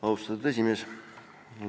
Austatud aseesimees!